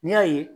N'i y'a ye